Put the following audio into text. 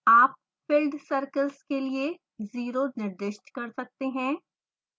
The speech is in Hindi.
आप filled circles के लिए o निर्दिष्ट कर सकते हैं